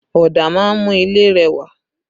Ọ̀dà máa ń mú ilé rẹwà